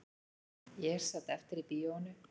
Ég sat eftir í bíóinu